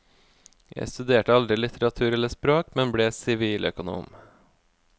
Jeg studerte aldri litteratur eller språk, men ble siviløkonom.